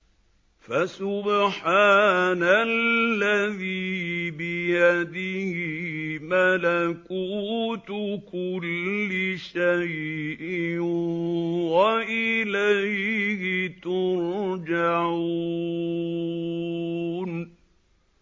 فَسُبْحَانَ الَّذِي بِيَدِهِ مَلَكُوتُ كُلِّ شَيْءٍ وَإِلَيْهِ تُرْجَعُونَ